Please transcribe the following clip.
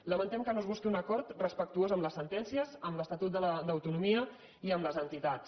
lamentem que no es busqui un acord respectuós amb les sentències amb l’estatut d’autonomia i amb les entitats